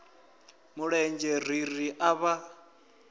mulenzhe ri ri a vha